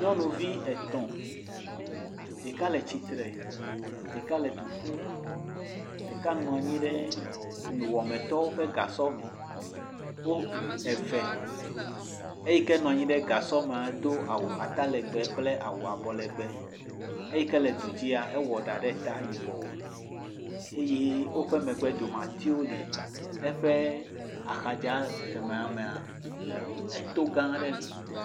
Nyɔnuvi etɔ̃. Ɖeka le tsitre, ɖeka le du ƒum, ɖeka nɔ anyi ɖe nuwɔametɔwo ƒe gasɔ me. Wo ɖe eve. Eyi ke nɔ anyi ɖe gasɔ mea do awu atalɛgbɛ kple awu abɔlɛgbɛ. Eyi ke le du dzia, ewɔ ɖa ɖe ta yibɔɔ. Eye woƒe megbedomea, atiwo le. Eƒe axadzi kemɛa mea eto gãã aɖe li.